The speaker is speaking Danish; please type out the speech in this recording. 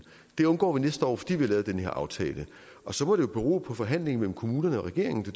det undgår vi næste år fordi vi har lavet den her aftale og så må det jo bero på forhandlingerne mellem kommunerne og regeringen det